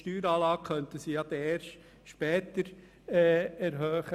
Die Steueranlage könnten Sie erst später erhöhen.